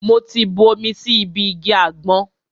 Mo ti bu omi sí ibi igi àgbọn.